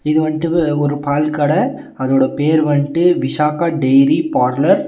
இது வண்டு பு ஒரு பால் கட அதோட பேர் வண்டு விஷாக்கா டெயிரி பார்லர் .